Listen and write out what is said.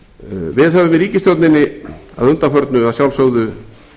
við höfum í ríkisstjórninni að undanförnu að sjálfsögðu